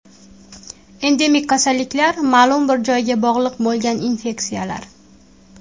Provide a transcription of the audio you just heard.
Endemik kasalliklar ma’lum bir joyga bog‘liq bo‘lgan infeksiyalar.